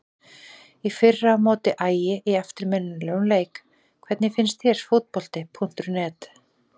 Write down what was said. Í fyrra á móti Ægi í eftirminnilegum leik Hvernig finnst þér Fótbolti.net?